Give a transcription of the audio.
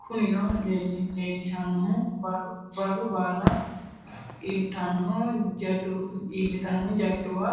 Kunino leellishannohu barru baala iillitanno jadduwa